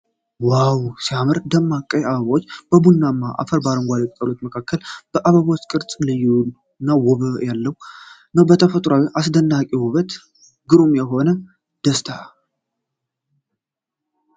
ዋው ሲያምር! ደማቅ ቀይ አበባዎች በቡናማ አፈርና አረንጓዴ ቅጠሎች መካከል ። የአበቦቹ ቅርፅ ልዩና ውበት ያለው ነው። ተፈጥሯዊና አስደናቂ ውበት! ግሩም የሆነ ደስታ!